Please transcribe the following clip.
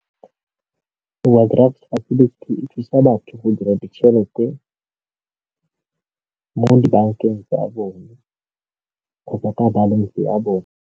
Ee, e thusa batho go dira ditšhelete mo dibankeng tsa bone kgotsa ka balance ya bone.